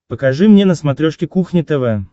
покажи мне на смотрешке кухня тв